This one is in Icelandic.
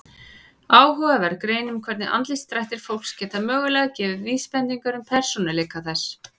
Áhugaverð grein um hvernig andlitsdrættir fólks geta mögulega gefið vísbendingar um persónuleika þess.